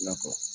I na fɔ